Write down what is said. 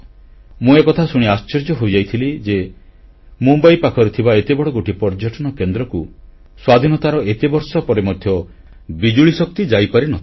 ମୁଁ ଏକଥା ଶୁଣି ଆଶ୍ଚର୍ଯ୍ୟ ହୋଇଯାଇଥିଲି ଯେ ମୁମ୍ବାଇ ପାଖରେ ଥିବା ଏତେବଡ଼ ଗୋଟିଏ ପର୍ଯ୍ୟଟନ କେନ୍ଦ୍ରକୁ ସ୍ୱାଧୀନତାର ଏତେବର୍ଷ ପରେ ମଧ୍ୟ ବିଜୁଳିଶକ୍ତି ଯାଇପାରି ନ ଥିଲା